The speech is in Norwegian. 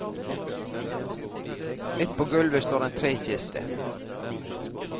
Midt på gulvet står en trekiste.